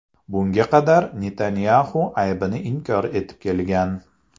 Bunga qadar Netanyaxu aybini inkor etib kelgan.